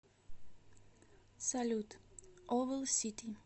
салют овл сити